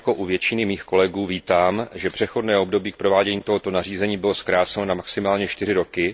podobně jako u většiny mých kolegů vítám, že přechodné období k provádění tohoto nařízení bylo zkrácena na maximálně 4 roky.